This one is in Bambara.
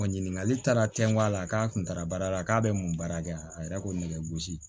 Ɲininkali taara cɛngɔ a la k'a kun taara baara la k'a bɛ mun baara kɛ a yɛrɛ ko ne gosi